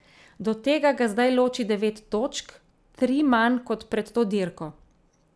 Do tega ga zdaj loči devet točk, tri manj kot pred to dirko.